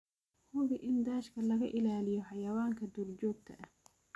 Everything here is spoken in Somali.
Hubi in daashka laga ilaaliyo xayawaanka duurjoogta ah.